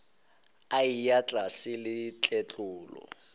a eya tlase le tletlolo